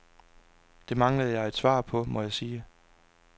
Det manglede jeg et svar på, må jeg sige.